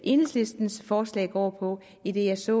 enhedslistens forslag går på idet jeg ser